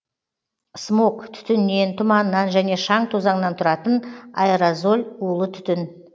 смог түтіннен тұманнан және шаң тозаңнан тұратын аэрозоль улы түтін